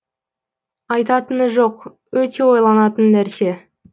айтатыны жоқ өте ойланатын нәрсе